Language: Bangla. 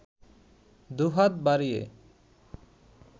দুহাত বাড়িয়ে